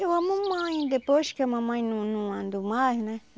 Eu, a mamãe, depois que a mamãe não não andou mais, né?